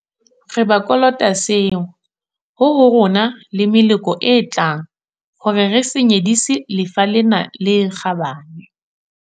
Re ba kolota seo, ho ho rona le ho meloko e tlang hore re se nyedisi lefa lena le kgabane.